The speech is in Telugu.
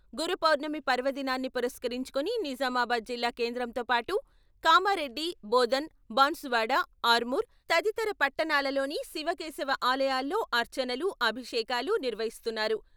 గురు పౌర్ణమి పర్వదినాన్ని పురస్కరించుకుని నిజామాబాద్ జిల్లా కేంద్రంతో పాటు కామారెడ్డి, బోధన్, బాన్సువాడ, ఆర్మూర్, తదితర పట్టణాలలోని శివకేశవ ఆలయాల్లో అర్చనలు, అభిషేకాలు నిర్వహిస్తున్నారు.